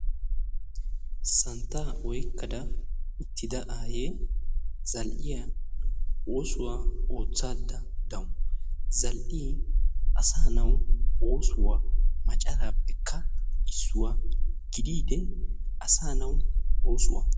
santta oykada utida aayee zal"iya oosuwa ottayda dawusu. Zal"ee asaa naw oosuwa macaraappekka issuwa. gididdi asa nawu oosuwa.